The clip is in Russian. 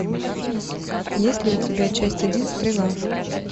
есть ли у тебя часть один стрела